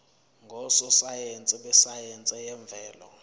ngososayense besayense yemvelo